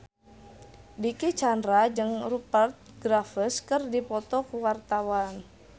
Dicky Chandra jeung Rupert Graves keur dipoto ku wartawan